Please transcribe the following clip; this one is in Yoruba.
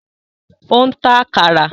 Ó ń ta “àkàrà”.